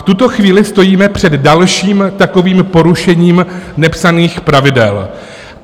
V tuto chvíli stojíme před dalším takovým porušením nepsaných pravidel.